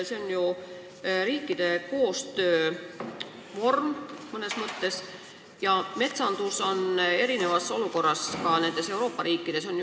Tegu on mõnes mõttes riikide koostöövormiga, aga metsanduse seis on Euroopa riikides erinev.